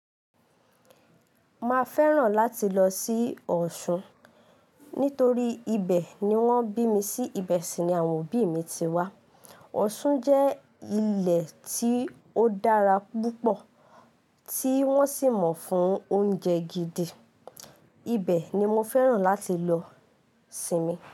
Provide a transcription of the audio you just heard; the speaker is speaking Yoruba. Ma fẹ́ràn láti lọ sí Ọ̀ṣun nítorí ibẹ̀ ni wọ́n bí mi sí. Ibẹ̀ sì ni àwọn òbí mi ti wá. Ọ̀ṣun jẹ́ ilẹ̀ tí ó dára púpọ̀ tí wọ́n sì mọ̀ fún oúnjẹ gidi. Ibẹ̀ ni mo fẹ́ràn láti lọ sinmi.